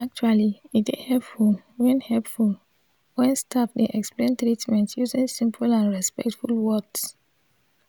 actually e dey hepful wen hepful wen staf dey explain treatment using simple and respectful words.